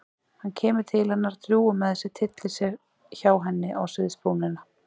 Hann kemur til hennar, drjúgur með sig, tyllir sér hjá henni á sviðsbrúnina.